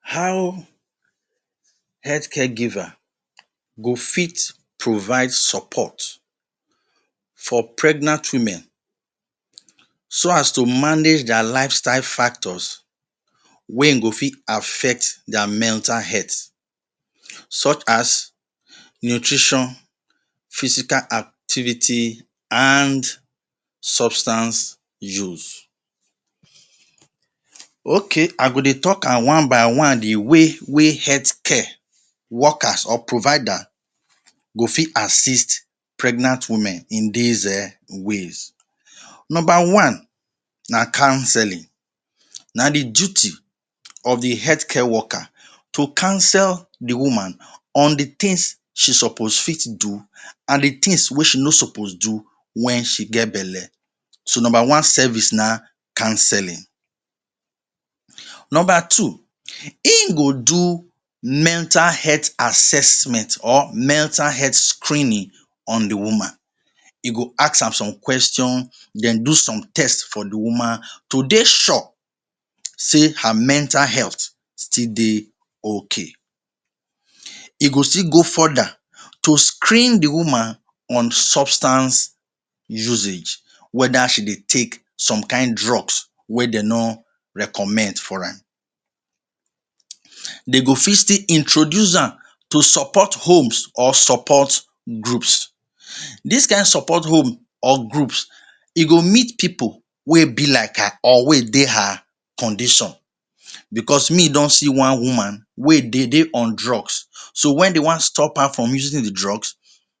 How health care giver go fit provide support for pregnant women so as to manage dia lifestyle factors wey ein go fit affect dia mental health such as nutrition, physical activity an substance use? Okay. I go dey talk am one-by-one the way wey health care workers or provider go fit assist pregnant women in dis um ways: Nomba one na counselling. Na the duty of the health care worker to counsel the woman on the tins she suppose fit do an the tins wey she no suppose do wen she get belle. So, nomba one service na counselling. Nomba two, ein go do mental health assessment or mental health screening on the woman. E go ask am some question on the woman. Then do some test for the woman to dey sure sey her mental health still dey okay. E go still go further to screen the woman on substance usage whether she dey take some kain drugs wey de no recommend for am. De go fit still introduce am to support homes or support groups. Dis kain support home or groups, e go meet pipu wey be like her or wey dey her condition. Becos me don see one woman wey dey dey on drugs. So wen de wan stop her from using the drugs,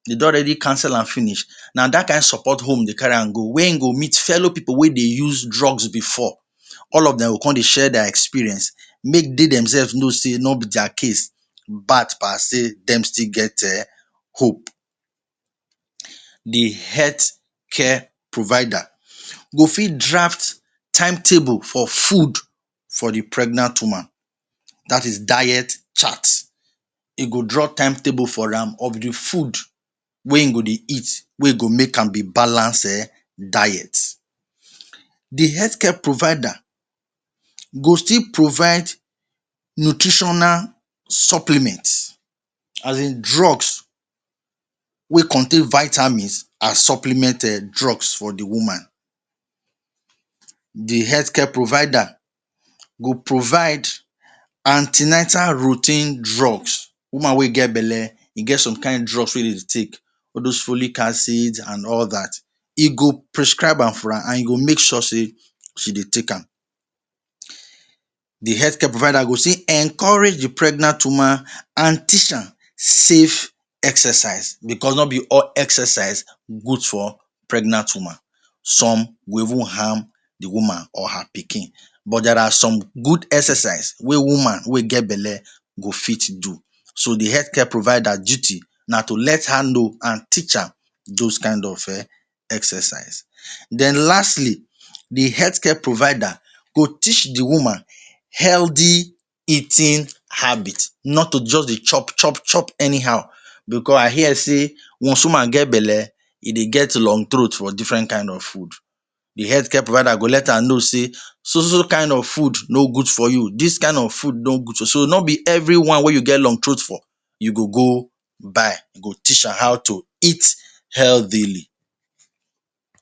de on already counsel am finish. Na dat kain support home dey carry am go where ein go meet fellow pipu wey dey use drugs before. All of dem go con dey share dia experience, make de demsef know sey no be dia case bad pass sey dem still get um hope. The health care provider go fit draft timetable for food for the pregnant woman. Dat is diet chart. E go draw timetable for am of the food wey ein go dey eat wey e go make am dey balance um diet. The health care provider go still provide nutritional supplement, as in drugs wey contain vitamins an supplement um drugs for the woman. The health care provider go provide an ten atal routine drugs. Woman wey get belle, e get some kain drugs wey se sey take – all dos folic acid an all dat. E go prescribe am for am an you go make sure sey she dey take am. The health care provider go still encourage the pregnant woman an teach am safe exercise becos no be all exercise good for pregnant woman. Some will even harm the woman or her pikin. But there are some good exercise wey woman wey get belle go fit do. So, the health care provider duty na to let her know an teach her dos kain of um exercise. Then lastly, the health care provider go teach the woman healthy eating habit, not to juz dey chop chop chop anyhow, becos I hear sey once woman get belle, e dey get long throat for different kain of food. The health care provider go let her know sey so so so kain of food no good for you, dis kain of food good. So so no be everyone wey you get long throat for you go go buy. You go teach am how to eat healthily.